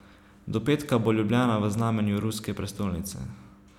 Do petka bo Ljubljana v znamenju ruske prestolnice.